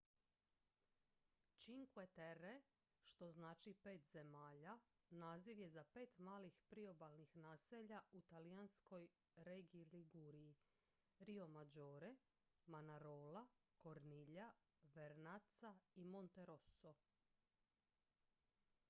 "cinque terre što znači "pet zemalja" naziv je za pet malih priobalnih naselja u talijanskoj regiji liguriji: riomaggiore manarola corniglia vernazza i monterosso.